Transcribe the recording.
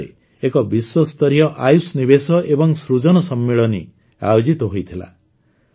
ନିକଟରେ ଏକ ବିଶ୍ୱସ୍ତରୀୟ ଆୟୁଷ ନିବେଶ ଏବଂ ସୃଜନ ସମ୍ମିଳନୀ ଆୟୋଜିତ ହୋଇଥିଲା